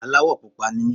Aláwọ̀ pupa ni mí.